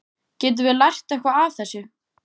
Getum við lært eitthvað af þessu?